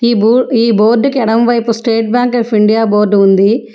ఈ బో ఈ బోర్డుకి ఎడమవైపు state bank of India board ఉంది.